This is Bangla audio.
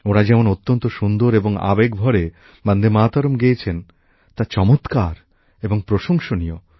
ওঁরা যেমন অত্যন্ত সুন্দর এবং আবেগ ভরে বন্দেমাতরম গেয়েছেন তা চমৎকার এবং প্রশংসনীয়